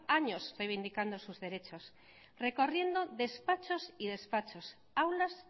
años revindicando sus derechos recorriendo despachos y despachos aulas